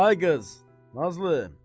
Ay qız, Nazlı.